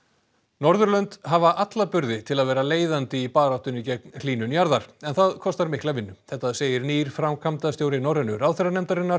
Norðurlönd hafa alla burði til að vera leiðandi í baráttunni gegn hlýnun jarðar en það kostar mikla vinnu þetta segir nýr framkvæmdastjóri Norrænu ráðherranefndarinnar